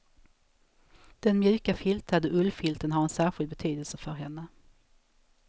Den mjuka filtade ullfilten har en särskild betydelse för henne.